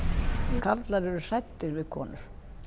karlar eru hræddir við konur